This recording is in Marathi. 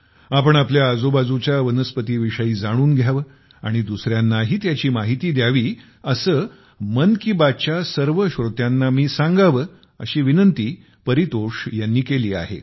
आपण आपल्या आजूबाजूच्या वनस्पतीविषयी जाणून घ्यावे आणि दुसऱ्यांनाही त्याची माहिती द्यावी असे मन की बात च्या सर्व श्रोत्यांना मी सांगावे असा आग्रह परितोष यांनी केला आहे